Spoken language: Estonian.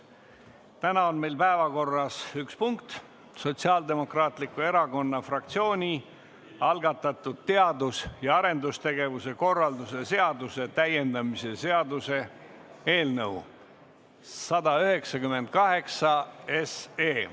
Täna on meil päevakorras üks punkt: Sotsiaaldemokraatliku Erakonna fraktsiooni algatatud teadus- ja arendustegevuse korralduse seaduse täiendamise seaduse eelnõu 198.